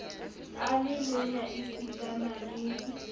a le lonya esitana le